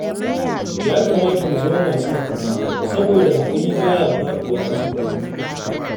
Ya kamata mu zama masu haƙuri, saboda haƙuri ba ya faɗuwa ƙasa banza